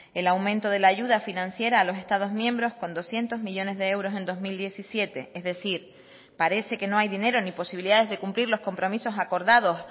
el aumento de la ayuda financiera a los estados miembros con doscientos millónes de euros en dos mil diecisiete es decir parece que no hay dinero ni posibilidades de cumplir los compromisos acordados